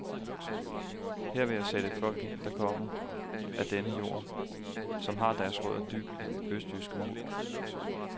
Her vil jeg sætte folk ind, der kommer af denne jord, som har deres rødder dybt i den østtyske muld.